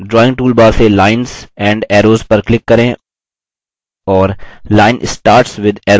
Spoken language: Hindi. drawing toolbar से>> lines and arrows पर click करें और line starts with arrow चुनें